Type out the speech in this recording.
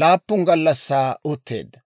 laappun gallassaa utteedda.